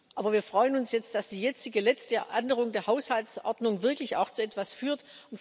Aber wir freuen uns jetzt, dass die jetzige letzte Änderung der Haushaltsordnung wirklich auch zu etwas führt.